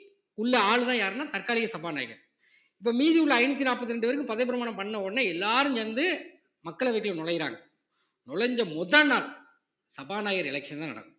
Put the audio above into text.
உள்ள ஆளுதான் யாருன்னா தற்காலிக சபாநாயகர் இப்ப மீதி உள்ள ஐந்நூத்தி நாற்பத்தி ரெண்டு பேருக்கும் பதவி பிரமாணம் பண்ண உடனே எல்லாரும் சேர்ந்து மக்களவைக்குள்ள நுழையுறாங்க நுழைஞ்ச முதல் நாள் சபாநாயகர் election தான் நடக்கும்